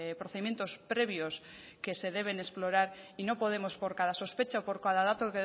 procedimientos previos que se deben explorar y no podemos por cada sospecha o por cada dato